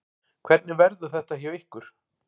Hvernig verður þetta hjá ykkur?